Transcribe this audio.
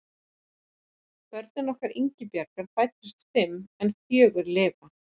Börn okkar Ingibjargar fæddust fimm en fjögur lifa.